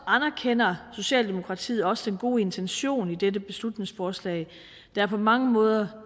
anerkender socialdemokratiet også den gode intention i dette beslutningsforslag der er på mange måder